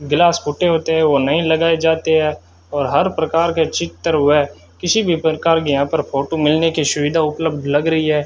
Glass फूटे होते हैं वो नहीं लगाए जाते हैं और हर प्रकार के चित्र व किसी भी प्रकार के यहां पर फोटो मिलने की सुविधा उपलब्ध लग रही है।